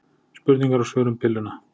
Spurningar og svör um pilluna.